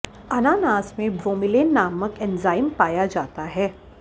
अनानास में ब्रोमीलेन नामक एंजाइम पाया जाता है